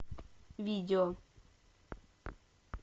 видео